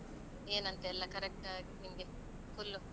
ಏನಂತೆಲ್ಲ correct ಆಗಿ ನಿನ್ಗೆ full .